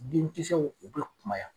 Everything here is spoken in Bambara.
Denkisɛw u be kumaya